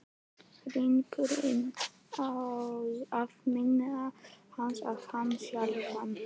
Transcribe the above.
Hringurinn á að minna hana á hann sjálfan.